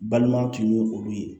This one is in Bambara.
Balimaw tun ye olu ye